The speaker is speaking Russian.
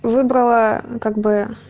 выбрала как бы